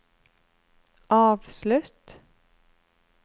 avslutt